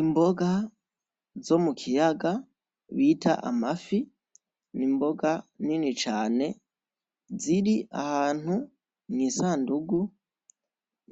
Imboga zo mukiyaga bita amafi zirahantu mwisandugu